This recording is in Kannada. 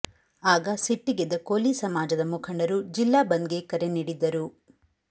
ಆಗ ಸಿಟ್ಟಿಗೆದ್ದ ಕೋಲಿ ಸಮಾಜದ ಮುಖಂಡರು ಜಿಲ್ಲಾ ಬಂದ್ಗೆ ಕರೆ ನೀಡಿದ್ದರು